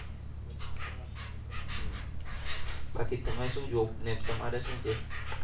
બાકી તમે શું job ને તમારે શું છે.